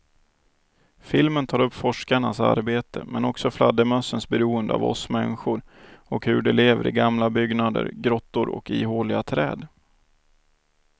Filmen tar upp forskarnas arbete men också fladdermössens beroende av oss människor och hur de lever i gamla byggnader, grottor och ihåliga träd.